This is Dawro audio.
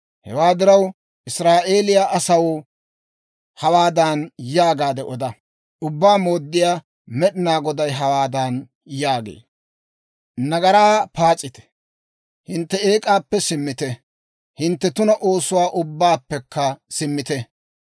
«Hewaa diraw, Israa'eeliyaa asaw hawaadan yaagaade oda; ‹Ubbaa Mooddiyaa Med'inaa Goday hawaadan yaagee; «Nagaraa paas'ite! Hintte eek'aappe simmite! Hintte tuna oosuwaa ubbaappekka simmite!